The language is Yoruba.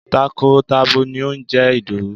Takọ tabo ni ó ń jẹ́ Ìdòwú.